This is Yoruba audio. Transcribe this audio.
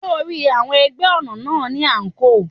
Ṣé o ri, àwọn ẹgbẹ́ ọ̀nà náà ni àǹkóò.